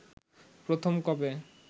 প্রথম কবে